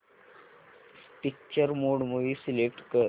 picture mode movie select कर